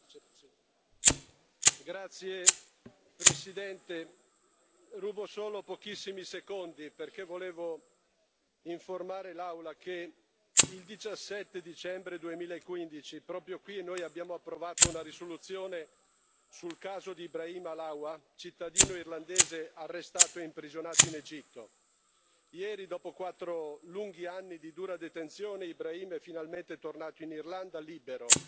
Signor Presidente, onorevoli colleghi, rubo solo pochissimi secondi perché volevo informare l'Aula che il 17 dicembre 2015, proprio qui, abbiamo approvato una risoluzione sul caso di Ibrahim Halawa, cittadino irlandese arrestato e imprigionato in Egitto. Ieri, dopo quattro lunghi anni di dura detenzione, Ibrahim è finalmente tornato in Irlanda, libero.